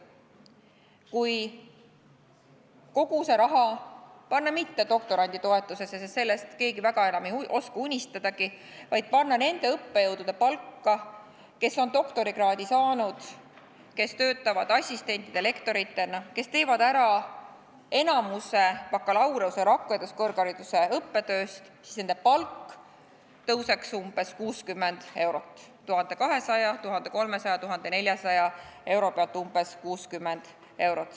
Kui kogu see raha panna mitte doktoranditoetusesse, sest sellest keegi väga enam ei oska unistadagi, vaid panna nende õppejõudude palka, kes on doktorikraadi saanud, kes töötavad assistentide-lektoritena, kes teevad ära enamuse bakalaureuse, rakenduskõrghariduse õppetööst, siis nende palk tõuseks umbes 60 eurot, 1200, 1300, 1400 euro pealt umbes 60 eurot.